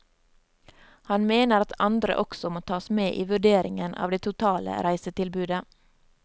Han mener at andre også må tas med i vurderingen av det totale reisetilbudet.